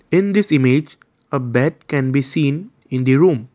in this image a bed can be seen in the room.